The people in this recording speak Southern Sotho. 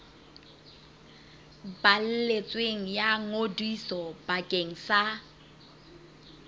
balletsweng ya ngodiso bakeng sa